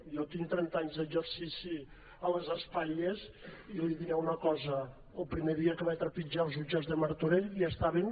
jo tinc trenta anys d’exercici a les espatlles i li diré una cosa el primer dia que vaig trepitjar els jutjats de martorell ja estaven